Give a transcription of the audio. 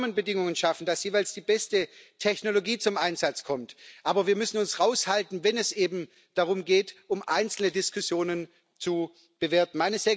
Wir müssen Rahmenbedingungen schaffen, damit jeweils die beste Technologie zum Einsatz kommt, aber wir müssen uns raushalten, wenn es eben darum geht, einzelne Diskussionen zu bewerten.